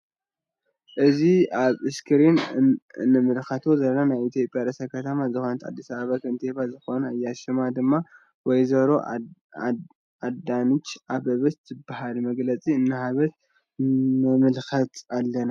እዚ አብ እስክሪን እንምልከቶ ዘለና ናይ ኢትዮጵያ ርእሰ ከተማ ዝኮነት አዲስ አበባ ከንቲባ ዝኮነት እያ ::ሽማ ድማ ወይዘሮ አዳንች አበበች ትበሃል ::መግለፂ እንድሃበት ንምልከት አለና::